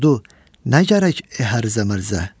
Sordu: "Nə gərək əhər zə-mərzə?